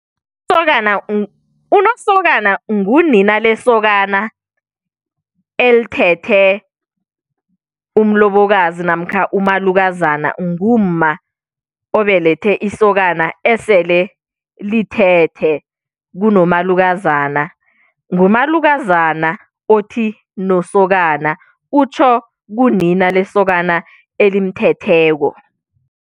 Usokana unosokana ngunina lesokana elithethe umlobokazi namkha umalukazana ngumma obelethe isokana esele lithethe kunomalukazana. Ngumalukazana othi nosokana utjho kunina lesokana elimuthetheko.